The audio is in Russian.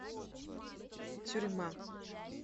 тюрьма